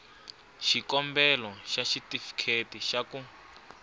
xikombelo xa xitifiketi xa ku